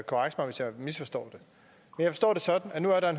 venstre står